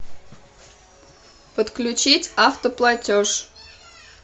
подключить автоплатеж